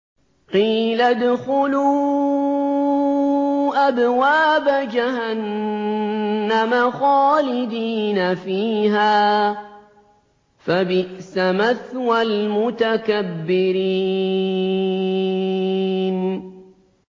قِيلَ ادْخُلُوا أَبْوَابَ جَهَنَّمَ خَالِدِينَ فِيهَا ۖ فَبِئْسَ مَثْوَى الْمُتَكَبِّرِينَ